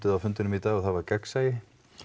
á fundinum í dag og það var gagnsæi